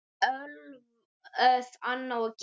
Ólöf, Anna og Gígja.